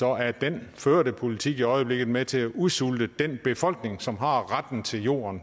er den førte politik i øjeblikket med til at udsulte den befolkning som har retten til jorden